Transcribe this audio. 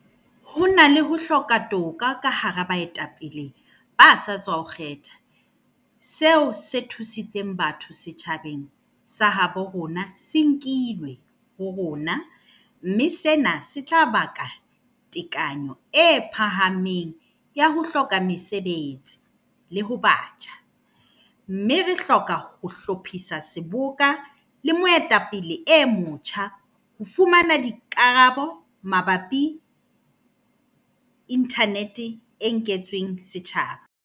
Ho na le ho hloka toka ka hara baetapele ba sa tswa ho kgethwa. Seo se thusitseng batho setjhabeng sa habo rona se nkilwe ho rona. Mme sena se tla baka tekanyo e phahameng ya ho hloka mesebetsi le ho batjha. Mme re hloka ho hlophisa seboka le moetapele e motjha ho fumana dikarabo mabapi le internet e nketsweng setjhaba.